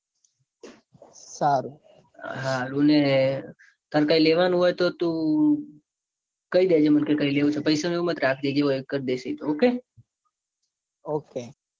સારું ને તાર કૈક લેવાનું હોય તો તું કઈ દેજે. મને કે કઈ લેવું છે. પૈસા નું એવું મત રાખજે. જે હોય એ કરી દઈશ. એતો ok ok